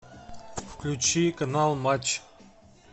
включи канал матч